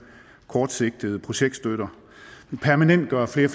kortsigtede projektstøtte vi permanentgør flere